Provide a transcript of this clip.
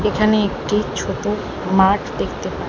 এখানে একটি ছোট মাঠ দেখতে পা--